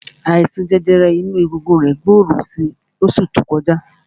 Àìsàn jẹjẹrẹ inú egungun rẹ̀ gbòòrò si ní oṣù tó kọjá.